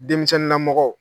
Denmisɛnw na mɔgɔ.